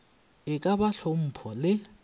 e ka ba hlompho le